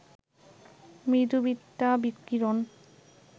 মৃদু বিটা বিকিরণ